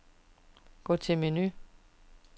Gå til menu.